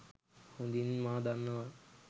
හොඳින් මා දන්නවා.